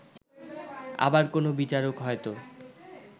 আবার কোন বিচারক হয়তো